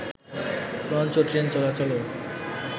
launch ও train চলাচলও